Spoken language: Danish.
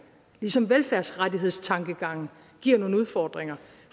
ligesom velfærdsrettighedstankegangen giver nogle udfordringer